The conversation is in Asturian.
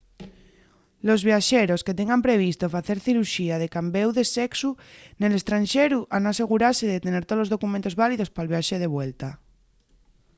los viaxeros que tengan previsto facer ciruxía de cambéu de sexu nel estranxeru han asegurase de tener tolos documentos válidos pal viaxe de vuelta